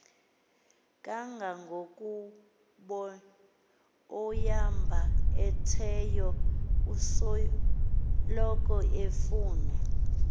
kangangokubaoyambetheyo usoloko efuna